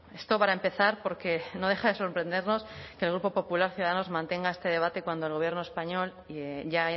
esto para empezar porque no deja de sorprendernos que el grupo popular ciudadanos mantenga este debate cuando el gobierno español ya ha